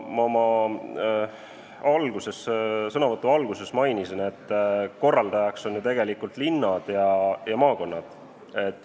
Ma oma sõnavõtu alguses mainisin, et korraldajad on ju tegelikult linnad ja maakonnad.